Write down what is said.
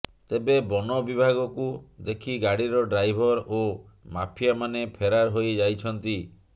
ତେବେ ବନ ବିଭାଗ କୁ ଦେଖି ଗାଡିର ଡ୍ରାଇଭର ଓ ମାଫିଆ ମାନେ ଫେରାର ହୋଇ ଯାଇଛନ୍ତି